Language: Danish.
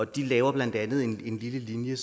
de laver blandt andet en lille linje